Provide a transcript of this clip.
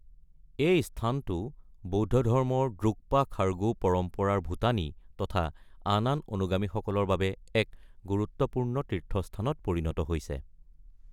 এই স্থানটো বৌদ্ধ ধৰ্মৰ দ্ৰুক্পা খাৰগু পৰম্পৰাৰ ভূটানী তথা আন আন অনুগামীসকলৰ বাবে এক গুৰুত্বপূৰ্ণ তীৰ্থস্থানত পৰিণত হৈছে।